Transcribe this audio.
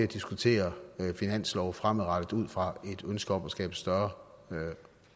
diskutere finanslov fremadrettet ud fra et ønske om også at skabe større